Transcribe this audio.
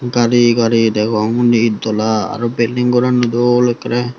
gareyi gareyi degong undi ed dola aro building ghoran o dol ekkere.